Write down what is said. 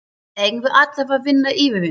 Eigum við alltaf að vinna yfirvinnu?